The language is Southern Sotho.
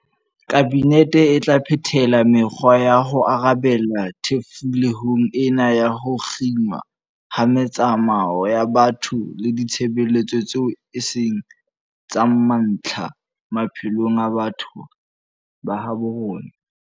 Kabinete e tla phethela me-kgwa ya ho arabela thefulehong ena ya ho kginwa ha metsamao ya batho le ditshebeletso tseo e seng tsa mantlha, maphelong a batho ba habo rona.